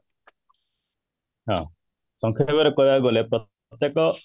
ହଁ, ସଂକ୍ଷେପରେ କହିବାକୁ ଗଲେ ପ୍ରତ୍ୟେକ